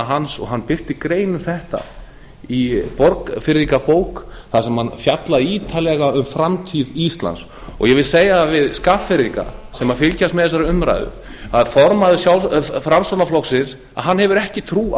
hans og hann birti grein um þetta í borgfirðingabók þar sem hann fjallar ítarlega um framtíð íslands og ég vil segja það við skagfirðinga sem fylgjast með þessari umræðu að formaður framsóknarflokksins hefur ekki trú á